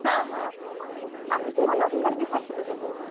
ହଁ ହଁ ଆଉ କିଛି ମୋର ଦରକାର କି certificate ହରିକା?